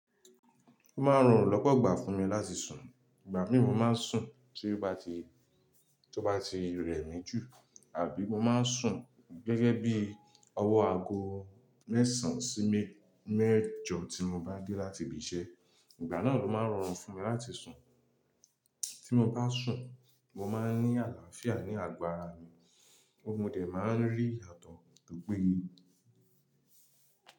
Ó máa ń rọrùn lọ́pọ̀ igbà fún mi láti sùn. Ìgbà mí mo máa ń sùn tó bá ti, rẹ̀ mí jù àbí mo máa ń sùn gẹ́gẹ́ bí ọwọ́ aago mẹ́sàn sí mẹ́jọ tí mo bá dé láti ibi iṣẹ́. Ìgbà náà ló máa ń rọrùn fún mi láti sùn. Tí mo bá sùn, mo máa ń ní àlàáfíà ní àgọ ara mi, mo dẹ̀ máa ń rí iyatọ tó péye.